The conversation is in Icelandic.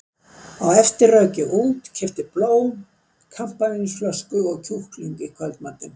Á eftir rauk ég út, keypti blóm, kampavínsflösku og kjúkling í kvöldmatinn.